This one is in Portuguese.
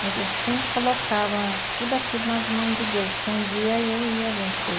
Mas eu sempre colocava tudo aquilo nas mãos de Deus, que um dia eu ia vencer.